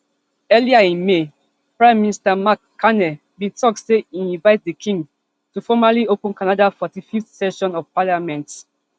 earlier in may prime minister mark carney bin tok say e invite di king to formally open canada forty-fiveth session of parliament